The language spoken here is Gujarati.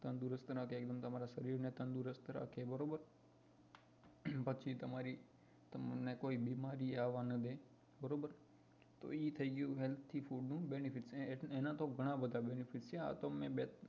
તંદુરસ્તી માટે એકદમ તમારા શરીર ને તંદુરસ્ત રાખે બરોબર પછી તમને કોઈ બીમારી આવા ના દેય બરોબર તો એ થઇ ગયું એના benefit એના તો ઘણાબધા benefit છે આ તો મેં બે